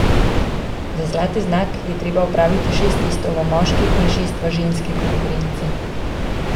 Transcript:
Za zlati znak je treba opraviti šest testov v moški in šest v ženski konkurenci.